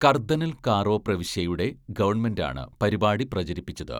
കർദ്ദനൽ കാറോ പ്രവിശ്യയുടെ ഗവൺമെന്റാണ് പരിപാടി പ്രചരിപ്പിച്ചത്.